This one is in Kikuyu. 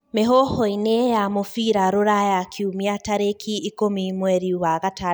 Mĩhuhu-ini ya Mubira Ruraya Kiumia tarĩkĩ ikũmi mweri wa gatandatũ mwaka wa ngiri igĩrĩ na ikũmi na inyanya.